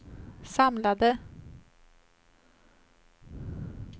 samlade